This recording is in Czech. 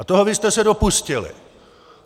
A toho vy jste se dopustili!